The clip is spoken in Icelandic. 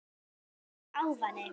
Slæmur ávani